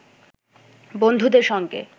বন্ধুদের সঙ্গে